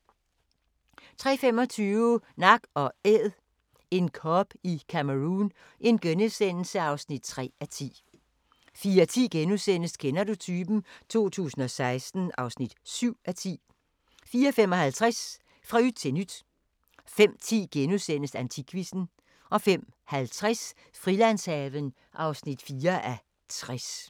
03:25: Nak & Æd – en kob i Cameroun (3:10)* 04:10: Kender du typen? 2016 (7:10)* 04:55: Fra yt til nyt 05:10: Antikquizzen * 05:50: Frilandshaven (4:60)